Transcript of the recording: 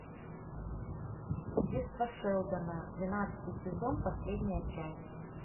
детство шелдона двенадцатый сезон последняя часть